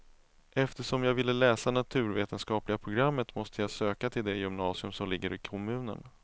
Eftersom jag ville läsa naturvetenskapliga programmet måste jag söka till det gymnasium som ligger i kommunen.